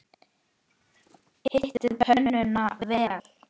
Hitið pönnuna vel.